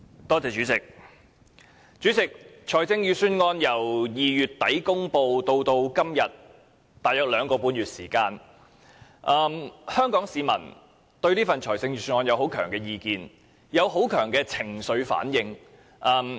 代理主席，財政預算案由2月底公布至今約兩個半月，香港市民對此有強烈意見及情緒反應。